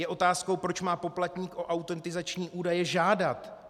Je otázkou, proč má poplatník o autentizační údaje žádat.